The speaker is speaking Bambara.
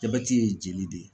Jabɛti ye jeli de ye.